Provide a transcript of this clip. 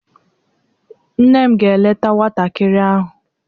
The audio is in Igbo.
Nne m ga-eleta nwantakịrị ahụ.